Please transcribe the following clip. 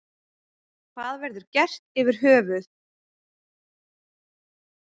Hvað verður gert yfir höfuð.